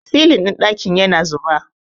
silin ɗin dakin yana zuba